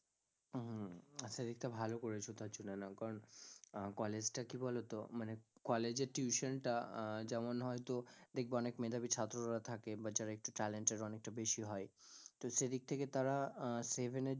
হম সেদিক টা ভালো করেছ কারণ আহ college টা কি বলো তো, মানে কলেজে tuition টা আহ যেমন হয়তো দেখবে অনেক মেধাবী ছাত্ররা থাকে বা যারা একটু talented অনেকটা বেশি হয় তো সেদিক থেকে তারা আহ seven এর য~